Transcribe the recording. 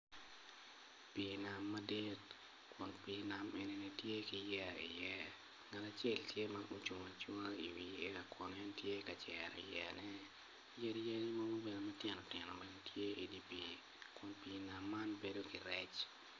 Pii nam madit kun pii nam enini tye ki yeya iye ngat acel tye ma ocung acunga i wi yeya kun en tye ka cero yeyane yadi yen mogo bene matino tino tye i di pii kun pii nam man bedo ki rec